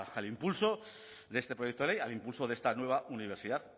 al impulso de este proyecto de ley al impulso de esta nueva universidad